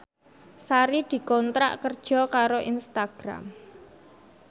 Sari dikontrak kerja karo Instagram